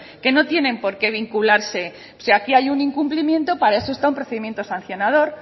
que no tiene por qué vincularse si aquí hay un incumpliendo para eso está un procedimiento sancionador